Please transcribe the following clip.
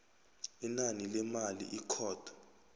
inani lemali ikhotho